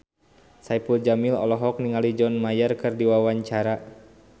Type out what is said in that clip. Saipul Jamil olohok ningali John Mayer keur diwawancara